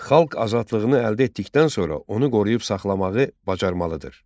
Xalq azadlığını əldə etdikdən sonra onu qoruyub saxlamağı bacarmalıdır.